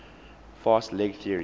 fast leg theory